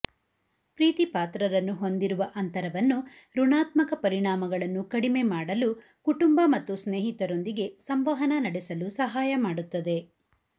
ಪ್ರೀತಿಪಾತ್ರರನ್ನು ಹೊಂದಿರುವ ಅಂತರವನ್ನು ಋಣಾತ್ಮಕ ಪರಿಣಾಮಗಳನ್ನು ಕಡಿಮೆ ಮಾಡಲು ಕುಟುಂಬ ಮತ್ತು ಸ್ನೇಹಿತರೊಂದಿಗೆ ಸಂವಹನ ನಡೆಸಲು ಸಹಾಯ ಮಾಡುತ್ತದೆ